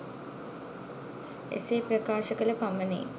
එසේ ප්‍රකාශ කළ පමණින්